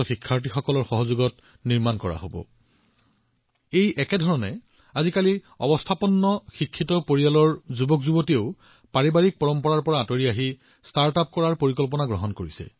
ঠিক সেইদৰে আপোনালোকে আজি যতেই দেখে যিকোনো পৰিয়াললৈ চাওক যিমানেই সম্পন্ন পৰিয়াল নহওক কিয় শিক্ষিত পৰিয়াল নহওক কিয় যদি পৰিয়ালৰ যুৱচামৰ সৈতে কথা পতা হয় তেতিয়া তেওঁ নিজৰ পৰিয়ালৰ পৰম্পৰাৰ পৰা আঁতৰি ষ্টাৰ্টআপ আৰম্ভ কৰাৰ কথা কয়